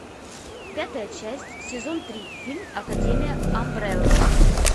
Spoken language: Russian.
пятая часть сезон три фильм академия амбрелла